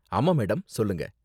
ஆமா மேடம், சொல்லுங்க.